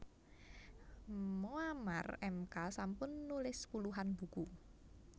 Moammar Emka sampun nulis puluhan buku